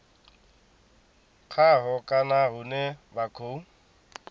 khaho kana hune vha khou